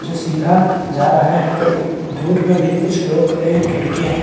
जो सीधा जा रहा है और दूर में भी कुछ लोग खड़े हैं खिड़कियां हैं।